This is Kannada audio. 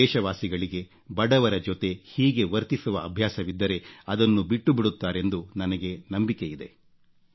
ನನ್ನ ದೇಶವಾಸಿಗಳಿಗೆ ಬಡವರ ಜೊತೆ ಹೀಗೆ ವರ್ತಿಸುವ ಅಭ್ಯಾಸವಿದ್ದರೆ ಅದನ್ನಬಿಟ್ಟು ಬಿಡುತ್ತಾರೆಂದು ನನಗೆ ನಂಬಿಕೆಯಿದೆ